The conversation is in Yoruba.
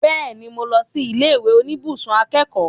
Bẹ́ẹ̀ni, mo lọ sí ilé ìwé oníbùsùn akẹ́kọ̀ọ́